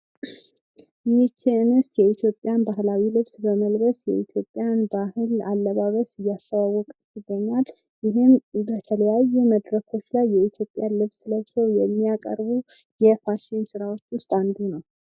ይህ አንስት የኢትዮጵያን ባህላዊ ልብስ በመልበስ የኢትዮጵያን ባህል አለባበስ እያስተዋወቀች ትገኛለች። ይህም በተለያየ መድረኮች ላይ የኢትዮጵያን ልብስ ለበስው የሚያቀርቡ የፋሽን ስራዎች ወስጥ አንዱ ነው።